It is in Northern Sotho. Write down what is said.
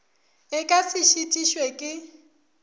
e ka se šitišwe ke